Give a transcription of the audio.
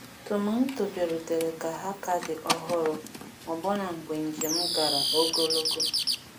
Tomanto bịarutere ka ha ka dị ọhụrụ ọbụna mgbe njem gara ogologo.